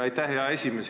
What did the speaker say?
Aitäh, hea esimees!